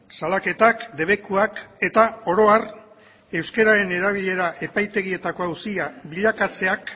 salaketak debekuak eta oro har euskararen erabilera epaitegietako auzia bilakatzeak